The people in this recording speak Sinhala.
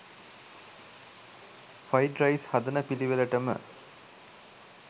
ෆ්‍රයිඩ් රයිස් හදන පිලිවෙලටම